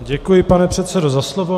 Děkuji, pane předsedo, za slovo.